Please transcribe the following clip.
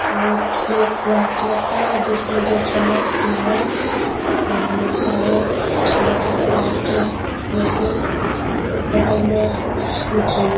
और plate white colour के हैं उसमें दो चम्मच दिया हुआ है और बहुत सारे बटरफ्लाई के जैसे बगल में कुछ मिठाइयां --